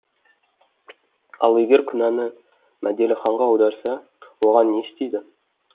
ал егер күнәні мәделіханға аударса оған не істейді